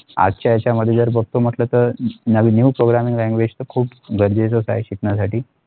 आजचा ह्याचा मध्ये तर बगतो म्हटले तर नवीन New Programming Language तर खूप गरजेच्या असत्या शिकण्यासाठी.